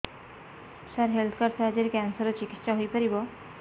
ସାର health card ସାହାଯ୍ୟରେ cancer ର ଚିକିତ୍ସା ହେଇପାରିବ